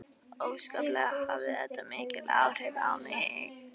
Óskaplega hafði þetta mikil áhrif á mig.